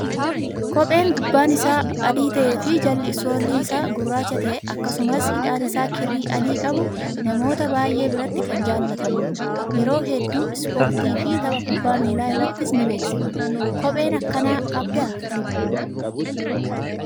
Kopheen gubbaan isaa adii ta'ee fi jalli soolii isaa gurraacha ta'e akkasumas hidhaan isaa kirrii adii qabu, namoota baay'ee biratti kan jaallatamudha. Yeroo hedduu ispoortii fi tapha kubbaa miilaa irrattis ni beeksafama. Kophee akkanaa qabdaa ati?